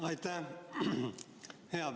Aitäh!